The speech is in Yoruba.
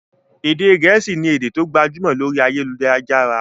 Èdè gẹ̀ẹ́sì ni èdè tó gbajúmọ̀ lórí ayélujára.